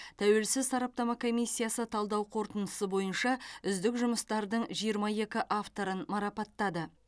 тәуелсіз сараптама комиссиясы талдау қорытындысы бойынша үздік жұмыстардың жиырма екі авторын марапаттады